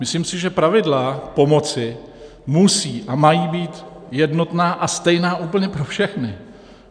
Myslím si, že pravidla pomoci musí a mají být jednotná a stejná úplně pro všechny.